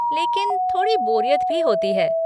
लेकिन थोड़ी बोरियत भी होती है।